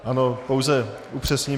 Ano, pouze upřesním.